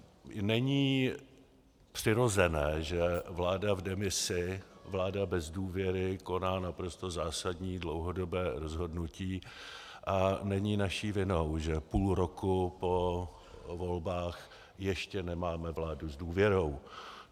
Není přirozené, že vláda v demisi, vláda bez důvěry koná naprosto zásadní dlouhodobé rozhodnutí, a není naší vinou, že půl roku po volbách ještě nemáme vládu s důvěrou.